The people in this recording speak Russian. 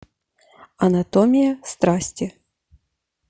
анатомия страсти